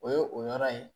O ye o yɔrɔ ye